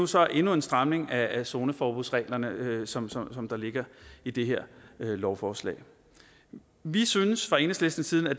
så endnu en stramning af zoneforbudsreglerne som som der ligger i det her lovforslag vi synes fra enhedslistens side at